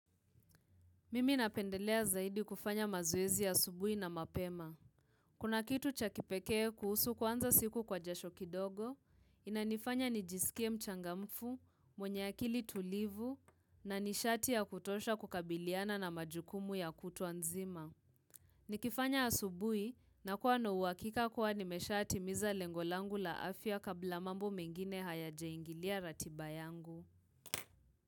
Mimi napendelea zaidi kufanya mazoezi ya asubuhi na mapema. Kuna kitu chakipekee kuhusu kwanza siku kwa jasho kidogo, inanifanya nijisikie mchangamfu, mwenye akili tulivu, na nishati ya kutosha kukabiliana na majukumu ya kutuanzima. Nikifanya asubuhi, nakuwa na uhakika kuwa nimeshatimiza lengo langu la afya kabla mambo mengine hayajaingilia ratiba yangu.